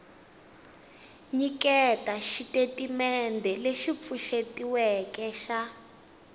nyiketa xitatimendhe lexi pfuxetiweke xa